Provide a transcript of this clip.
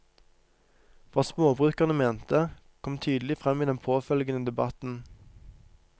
Hva småbrukerne mente, kom tydelig frem i den påfølgende debatten.